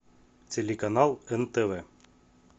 телеканал нтв